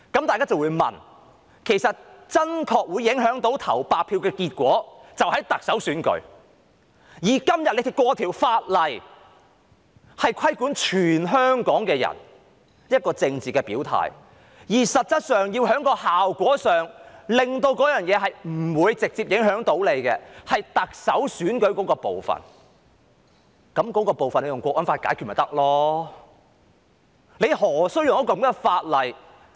大家就會問，投白票真的會影響結果，就是在特首選舉，今天通過的法例卻規管全體香港人的政治表態，而實質上謀求不受直接影響的是特首選舉那部分，那部分引用《香港國安法》便可解決了，何須引用這樣的法例？